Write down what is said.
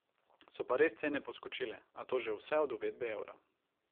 So pa res cene poskočile, a to že vse od uvedbe evra.